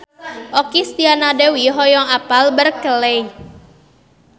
Okky Setiana Dewi hoyong apal Berkeley